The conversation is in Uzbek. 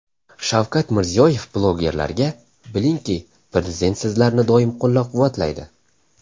Shavkat Mirziyoyev blogerlarga: Bilingki, Prezident sizlarni doim qo‘llab-quvvatlaydi.